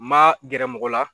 N ma gɛrɛ mɔgɔ la.